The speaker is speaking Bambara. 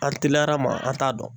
An teliyara ma an t'a dɔn.